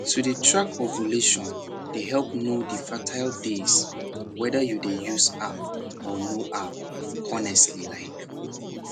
to dey track ovulation dey help know the fertile days whether you dey use app or no app honestly like